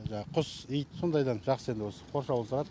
жаңағы құс ит сондайдан жақсы енді осы қоршаулы тұрад